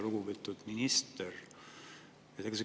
Lugupeetud minister!